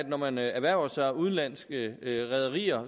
når man erhverver sig udenlandske rederier